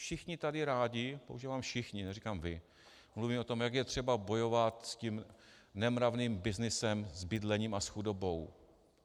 Všichni tady rádi - používám všichni, neříkám vy - mluvíme o tom, jak je třeba bojovat s tím nemravným byznysem s bydlením a s chudobou.